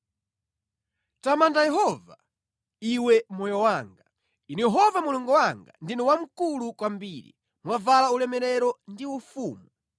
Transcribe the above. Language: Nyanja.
Tamanda Yehova, iwe moyo wanga. Inu Yehova Mulungu wanga, ndinu wamkulu kwambiri; mwavala ulemerero ndi ufumu.